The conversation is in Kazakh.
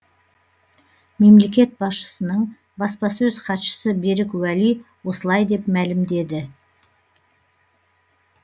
мемлекет басшысының баспасөз хатшысы берік уәли осылай деп мәлімдеді